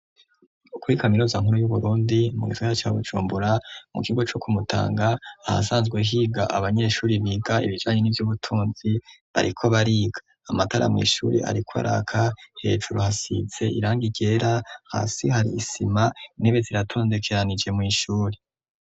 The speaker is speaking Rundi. Ukuri kamirozankuru y'uburundi mu'isoya cabucumbura mu kigo co kumutanga aha sanzwe higa abanyeshuri biga ibijanye n'ivyo ubutunzi bariko bariga amatara mw'ishuri, ariko araka hejuru hasise iranga igera hasi hari isima intebe ziratondekeranije mw'ishuri.